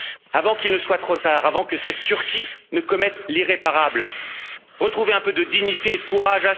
Avant qu'il ne soit trop tard, avant que cette Turquie ne commette l'irréparable, retrouvez un peu de dignité et de courage.